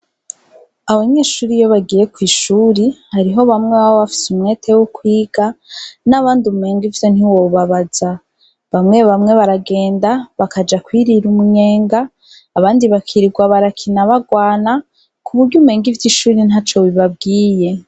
Abanyeshure iyo bagiye kw'ishure, hariho bamwe baba bafise umwete wo kwiga, n'abandi umenga ivyo ntiwobabaza, bamwe bamwe baragenda bakaja kwirira umunyenga, abandi bakirirwa barakina bagwana, kumenga ivyishure ntaco bibabwiye.